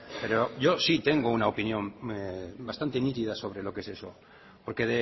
pero yo sí tengo una opinión bastante nítida sobre lo que es eso porque